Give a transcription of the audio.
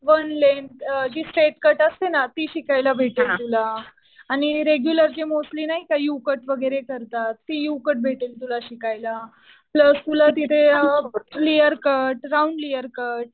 One length जी step cut असते ना ती शिकायला भेटेल तुला. आणि रेग्युलरचे मोस्टली नाही का यु कट वगैरे करतात. ते यु कट भेटेल तुला शिकायला. प्लस तुला तिथे layer cut, round layer cut